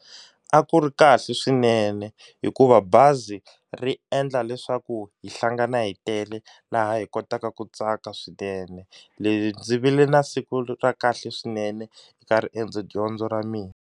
A ku ri kahle swinene hikuva bazi ri endla leswaku hi hlangana hi tele laha hi kotaka ku tsaka swinene leswi ndzi vile na siku ra kahle swinene eka riendzo dyondzo ra mina.